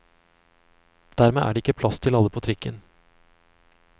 Dermed er det ikke plass til alle på trikken.